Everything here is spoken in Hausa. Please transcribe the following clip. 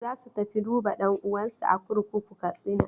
Za su tafi duba ɗan'uwansu a kurkukun Katsina.